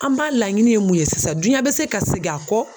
An ba laɲini ye mun ye sisan duɲa bɛ se ka segi a kɔ